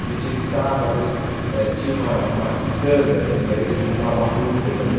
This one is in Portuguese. A gente ia de sábado, eh tinha uma uma quitanda em Jundiaí, que a gente comprava frutas ali.